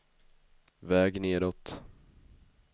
väg nedåt